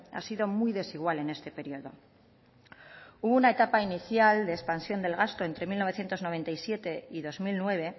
ha sido muy desigual en este periodo hubo una etapa inicial de expansión del gasto entre mil novecientos noventa y siete y dos mil nueve